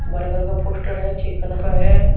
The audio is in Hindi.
बर्गर का पोस्टर है चिकन का है।